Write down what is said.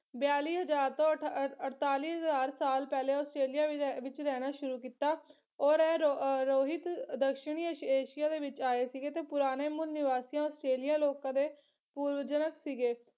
ਬਿਆਲੀ ਹਜ਼ਾਰ ਤੋਂ ਅਠ ਅਹ ਅਠਤਾਲੀ ਹਜ਼ਾਰ ਸਾਲ ਪਹਿਲੇ ਆਸਟ੍ਰੇਲੀਆ ਵਿੱਚ ਐ ਵਿੱਚ ਰਹਿਣਾ ਸ਼ੁਰੂ ਕੀਤਾ ਔਰ ਰੋ ਅਹ ਰੋਹਿਤ ਦੱਖਣੀ ਏਸ਼ੀਆ ਦੇ ਵਿੱਚ ਆਏ ਸੀਗੇ ਤੇ ਪੁਰਾਣੇ ਮੂਲ ਨੀਵਾਸੀਆਂ ਆਸਟ੍ਰੇਲੀਆ ਲੋਕਾਂ ਦੇ ਪੂਰਵਜਨਕ ਸੀਗੇ।